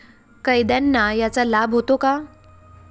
कैद्यांना याचा लाभ होतो का?